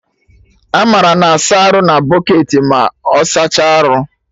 Amara na-asa arụ bụcketị ma ọ saachaa arụ